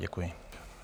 Děkuji.